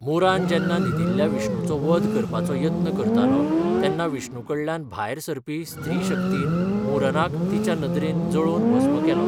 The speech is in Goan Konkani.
मुरान जेन्ना न्हिदिल्ल्या विष्णुचो वध करपाचो यत्न करतालो तेन्ना विष्णु कडल्यान भायर सरपी स्त्रीशक्तीन मुरनाक तिच्या नदरेन जळोवन भस्म केलो.